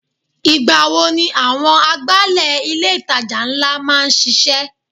Ìgbà wo ni àwọn agbálẹ̀ ilé itàjà ńlá máa ń sise?